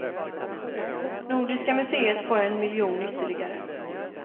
Nordiska museet får en miljon ytterligare.